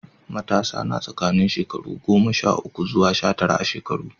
Matasa na tsakanin shekaru goma sha uku zuwa sha tara a shekaru.